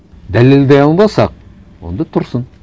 дәлелдей алмасақ онда тұрсын